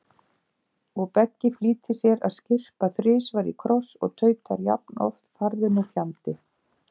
Og Beggi flýtir sér að skyrpa þrisvar í kross og tautar jafnoft farðu nú fjandi